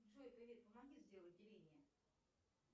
джой привет помоги сделать деление